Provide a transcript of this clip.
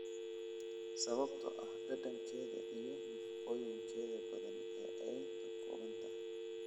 sababtoo ah dhadhankeeda wanaagsan iyo nafaqooyinka badan ee ay ka kooban tahay